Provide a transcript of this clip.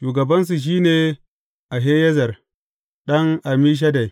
Shugabansu shi ne Ahiyezer ɗan Ammishaddai.